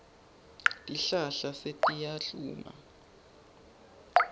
tihlahla setiyahluma